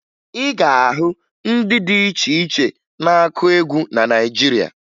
Ị ga-ahụ ndị dị iche iche na-akụ egwu na Naịjirịa